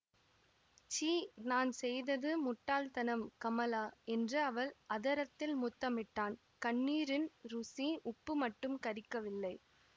சீ நான் செய்தது முட்டாள்தனம் கமலா என்று அவள் அதரத்தில் முத்தமிட்டான் கண்ணீரின் ருசி உப்பு மட்டும் கரிக்கவில்லை